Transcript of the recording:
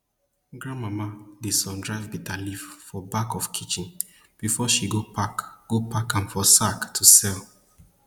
grandmama dey sun dry bitterleaf for back of kitchen before she go pack go pack am for sack to sell